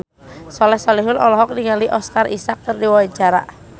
Soleh Solihun olohok ningali Oscar Isaac keur diwawancara